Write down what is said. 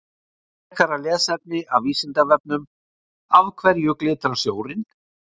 Frekara lesefni af Vísindavefnum: Af hverju glitrar snjórinn?